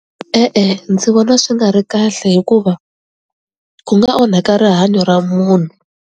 E-e, ndzi vona swi nga ri kahle hikuva ku nga onhaka rihanyo ra munhu.